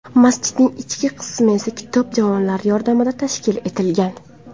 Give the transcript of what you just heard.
Masjidning ichki qismi esa kitob javonlari yordamida tashkil etilgan.